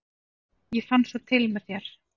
ég fann svo til með þér!